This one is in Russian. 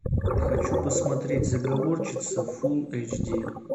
хочу посмотреть заговорщица фулл эйч ди